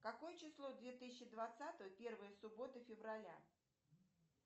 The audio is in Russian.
какое число две тысячи двадцатого первая суббота февраля